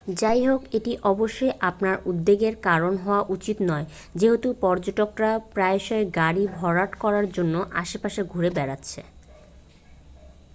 যাইহোক এটি অবশ্যই আপনার উদ্বেগের কারণ হওয়া উচিত নয় যেহেতু পর্যটকরা প্রায়শই গাড়ি ভরাট করার জন্য আশেপাশে ঘুরে বেড়াচ্ছেন